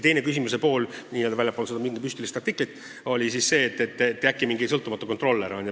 Teine küsimuse pool, mis ei puudutanud seda mingit müstilist artiklit, oli siis selle kohta, kas tuleb mingi sõltumatu kontrollija.